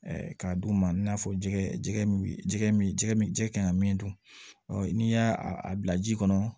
k'a d'u ma i n'a fɔ jɛgɛ jɛgɛ min jɛgɛ min jɛgɛ min jɛgɛ kan ka min dun n'i y'a a bila ji kɔnɔ